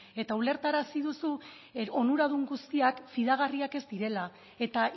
eta ulertarazi duzu onuradun guztiak fidagarriak ez direla eta